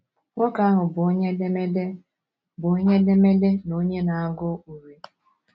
Nwoke ahụ bụ onye edemede bụ onye edemede na onye na - agụ urí.